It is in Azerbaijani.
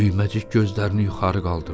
Düyməcik gözlərini yuxarı qaldırdı.